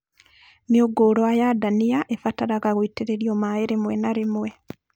Mĩũngũrwa ya ndania ĩbataraga gũitĩrĩrio maĩ rĩmwe na rĩmwe